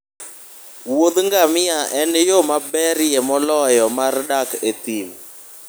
wuodh gamia en yo maberie moloyo mar dak e thim